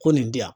Ko nin di yan